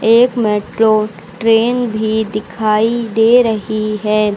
एक metro train भी दिखाई दे रही है।